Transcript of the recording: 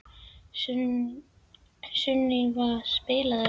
Sunníva, spilaðu lag.